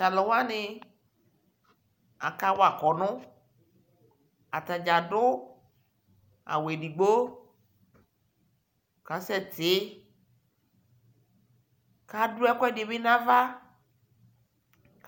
Talu wani aka wa kɔnu Atafza ɖu awu eɖɩgbo kasɛ tɩ Ka ɖu ɛkuɛɖi bi nava